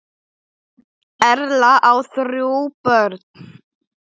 Erla á þrjú börn.